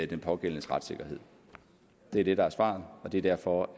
den pågældendes retssikkerhed det er det der er svaret og det er derfor